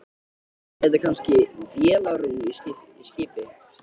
Er þetta kannski vélarrúm í skipi?